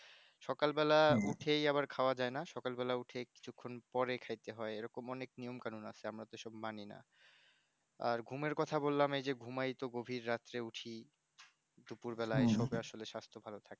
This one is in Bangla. সকাল বেলায় উঠেই আবার খাওয়া যায়না সকাল বেলা উঠে কিছুক্ষন পরে খাইতে হয় এইরকম অনেক নিয়মকানুন আছে আমরা তো মানিনা আর ঘুমের কথা বললাম এই যে ঘুমাইতো গভীর রাতে উঠি দুপুর বেলায় শুলে সাস্থ ভালো থাকে